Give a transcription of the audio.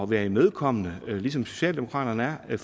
være imødekommende ligesom socialdemokraterne er